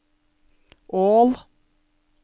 Ål